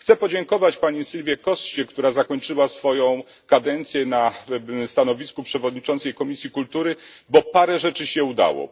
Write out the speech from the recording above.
Chcę podziękować pani Silvii Coście, która zakończyła swoją kadencję na stanowisku przewodniczącej Komisji Kultury, bo parę rzeczy się udało.